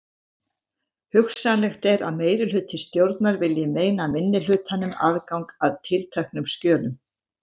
Hugsanlegt er að meirihluti stjórnar vilji meina minnihlutanum aðgang að tilteknum skjölum.